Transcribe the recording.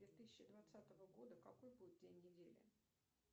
две тысячи двадцатого года какой будет день недели